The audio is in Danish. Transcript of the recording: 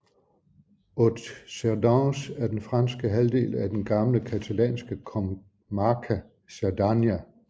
Haute Cerdagne er den franske halvdel af det gamle catalanske comarca Cerdanya